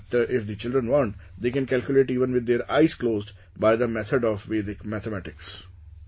So that if the children want, they can calculate even with their eyes closed by the method of Vedic mathematics